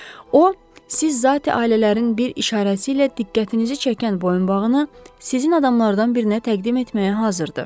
O siz zatı ailələrin bir işarəsi ilə diqqətinizi çəkən boyunbağını sizin adamlardan birinə təqdim etməyə hazırdır.